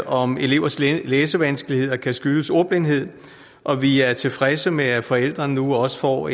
om elevers læsevanskeligheder kan skyldes ordblindhed og vi er tilfredse med at forældrene nu også får